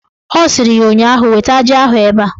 Ọ sịrị ya ụnyaahụ "Weta ji ahụ ebe a"!